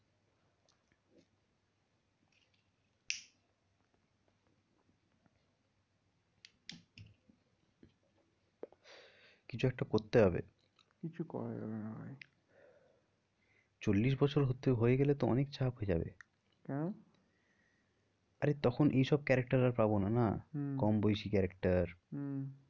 কিছু একটা করতে হবে কিছু করা যাবে না ভাই চল্লিশ বছর হয়ে গেলে তো অনেক চাপ হয়ে যাবে। কেন? আরে তখন এই সব character আর পাবো না না হম কম বয়েসি character হম